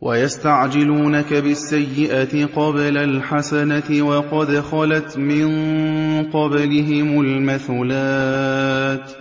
وَيَسْتَعْجِلُونَكَ بِالسَّيِّئَةِ قَبْلَ الْحَسَنَةِ وَقَدْ خَلَتْ مِن قَبْلِهِمُ الْمَثُلَاتُ ۗ